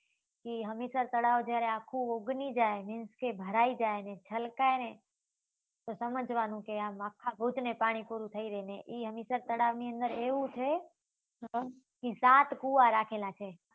હમીસર તળાવ જ્યારે ઉગની જાય means કે ભરાઈ જાય અને છલકાય તો સમજવા નું કે આમ આખા ભુજ ને પાણી પૂરું થઇ રાઈ ને એ હમીસર તળાવ ની અંદર એવું છે કે સાત કુવા રાખેલા છે.